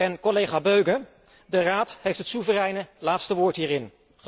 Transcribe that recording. En, collega Böge, de Raad heeft het soevereine laatste woord hierin.